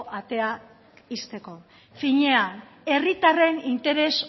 atea ixteko finean herritarren interes